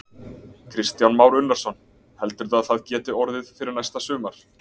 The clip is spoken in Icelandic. Kristján Már Unnarsson: Heldurðu að það geti orðið fyrir næsta sumar?